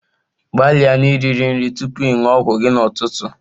Gbalịa na-iriri nri tupu ị ṅụọ ọgwụ gị n'ụtụtụ.